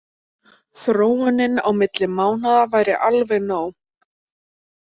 Þróunin milli mánaða væri alveg nóg.